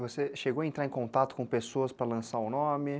Você chegou a entrar em contato com pessoas para lançar o nome?